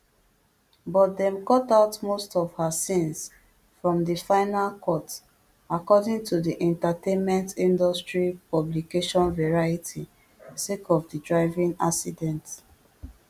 but dem cut out most of her scenes from di final cut according to di entertainmentindustry publication variety sake of di driving accident